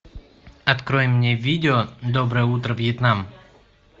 открой мне видео доброе утро вьетнам